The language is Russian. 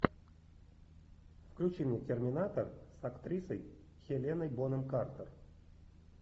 включи мне терминатор с актрисой хеленой бонем картер